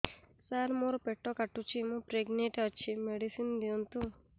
ସାର ମୋର ପେଟ କାଟୁଚି ମୁ ପ୍ରେଗନାଂଟ ଅଛି ମେଡିସିନ ଦିଅନ୍ତୁ